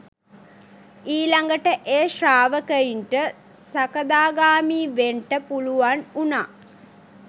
ඊළඟට ඒ ශ්‍රාවකයින්ට සකදාගාමී වෙන්ට පුළුවන් වුණා